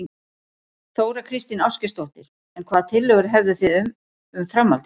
Þóra Kristín Ásgeirsdóttir: En hvaða tillögur hefðu þið um, um framhaldið?